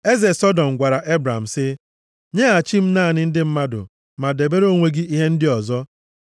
Eze Sọdọm gwara Ebram sị, “Nyeghachi m naanị ndị mmadụ, ma debere onwe gị ihe ndị ọzọ.”